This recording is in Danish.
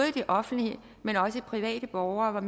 i det offentlige men også private borgere var